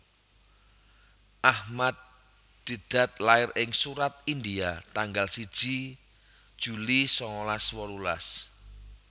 Ahmad Deedat lair ing Surat India tanggal siji juli sangalas wolulas